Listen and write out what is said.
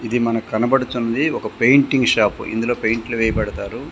ఇది మనకి కనబడచున్నది ఒక పెయింటింగ్ షాప్ ఇందులో పెయింట్లు వేయబడతారు.